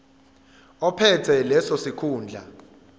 ophethe leso sikhundla